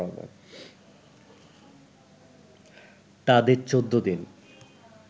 তাদের ১৪ দিন